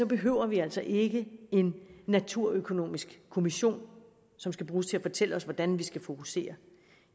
behøver vi altså ikke en naturøkonomisk kommission som skal bruges til at fortælle os hvordan vi skal fokusere